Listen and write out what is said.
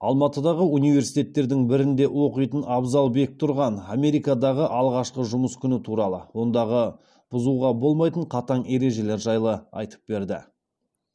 алматыдағы университеттердің бірінде оқитын абзал бектұрған америкадағы алғашқы жұмыс күні туралы ондағы бұзуға болмайтын қатаң ережелер жайлы айтып берді